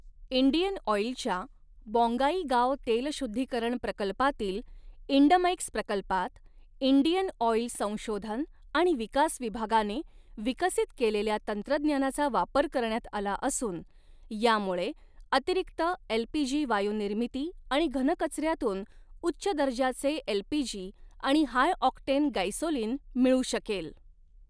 Indian ऑईलच्या बॉन्गाईगांव तेलशुद्धीकरण प्रकल्पातील इंडमैक्स प्रकल्पात इंडियन ऑईल संशोधन आणि विकास विभागाने विकसित केलेल्या तंत्रज्ञानाचा वापर करण्यात आला असून, यामुळे अतिरिक्त एलपीजी वायूनिर्मिती आणि घनकचऱ्यातून उच्च दर्जाचे एलपीजी आणि हाय ऑक्टेन गैसोलिन मिळू शकेल.